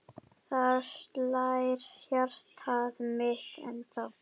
Þar slær hjartað mitt ennþá.